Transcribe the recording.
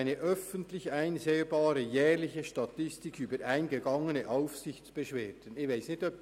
eine öffentlich einsehbare jährliche Statistik über eingegangene Aufsichtsbeschwerden [...]»;